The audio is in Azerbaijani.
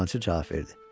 Dəyirmançı cavab verdi.